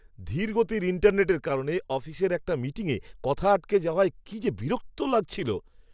ধীরগতির ইন্টারনেটের কারণে অফিসের একটা মিটিংয়ে কথা আটকে যাওয়ায় কি যে বিরক্ত লাগছিল!